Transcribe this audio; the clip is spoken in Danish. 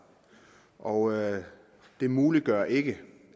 og det muliggør ikke